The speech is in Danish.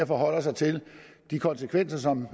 forholder sig til de konsekvenser som